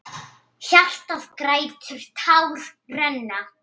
Hjartað grætur, tár renna.